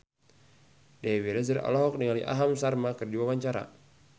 Dewi Rezer olohok ningali Aham Sharma keur diwawancara